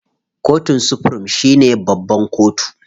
Kotun supirim shine babban kotu.